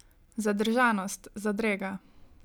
Zadržanost, zadrega.